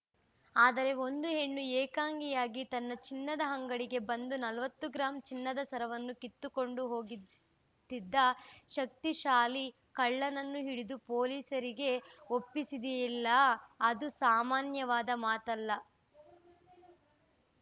ಆದರೆ ಒಂದು ಹೆಣ್ಣು ಏಕಾಂಗಿಯಾಗಿ ತನ್ನ ಚಿನ್ನದ ಅಂಗಡಿಗೆ ಬಂದು ನಲವತ್ತು ಗ್ರಾಂನ ಚಿನ್ನದ ಸರವನ್ನು ಕಿತ್ತುಕೊಂಡು ಹೋಗುತ್ತಿದ್ದ ಶಕ್ತಿಶಾಲಿ ಕಳ್ಳನನ್ನು ಹಿಡಿದು ಪೊಲೀಸರಿಗೆ ಒಪ್ಪಿಸಿದಿದೆಯಲ್ಲಾ ಅದು ಸಾಮಾನ್ಯವಾದ ಮಾತಲ್ಲ